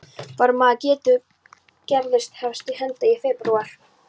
Þar með getur Gerður hafist handa í febrúar